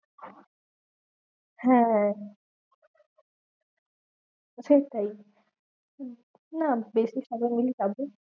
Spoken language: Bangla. হ্যাঁ হ্যাঁ ঠিক তাই না বেশি